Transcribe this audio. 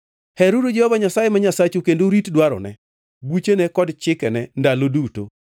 Heruru Jehova Nyasaye ma Nyasachu kendo urit dwarone, buchene, kod chikene ndalo duto.